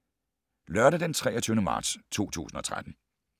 Lørdag d. 23. marts 2013